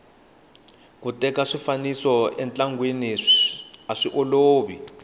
ku teka swifaniso entlangeni aswiolovi